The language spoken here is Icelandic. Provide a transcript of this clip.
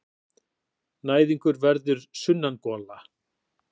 Næðingur verður sunnangola.